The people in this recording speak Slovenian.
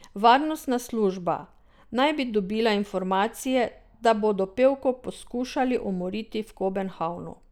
Varnostna služba naj bi dobila informacije, da bodo pevko poskušali umoriti v Kobenhavnu.